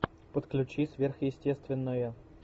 подключи сверхъестественное